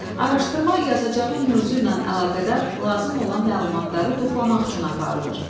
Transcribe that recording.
Araşdırma yazacağım mövzu ilə əlaqədar lazım olan məlumatları toplamaq üçün aparılır.